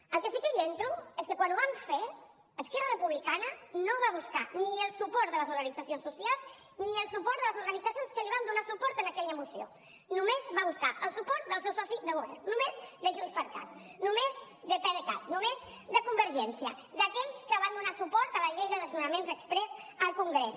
en el que sí que entro és que quan ho van fer esquerra republicana no va buscar ni el suport de les organitzacions socials ni el suport de les organitzacions que li van donar suport en aquella moció només va buscar el suport del seu soci de govern només de junts per cat només de pdecat només de convergència d’aquells que van donar suport a la llei de desnonaments exprés al congrés